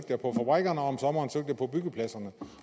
fabrikkerne og om sommeren søgte jeg på byggepladserne